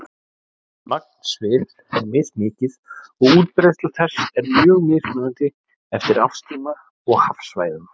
Magn svifs er mismikið og útbreiðsla þess er mjög mismunandi eftir árstíma og hafsvæðum.